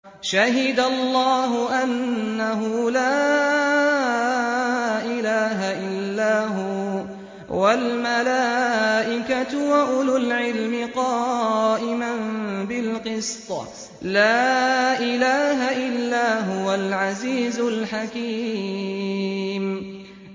شَهِدَ اللَّهُ أَنَّهُ لَا إِلَٰهَ إِلَّا هُوَ وَالْمَلَائِكَةُ وَأُولُو الْعِلْمِ قَائِمًا بِالْقِسْطِ ۚ لَا إِلَٰهَ إِلَّا هُوَ الْعَزِيزُ الْحَكِيمُ